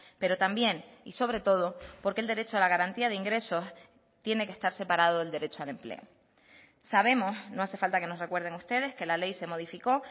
pero también y sobre todo porque el derecho a la garantía de ingresos tiene que estar separado del derecho al empleo sabemos no hace falta que nos recuerden ustedes que la ley se modificó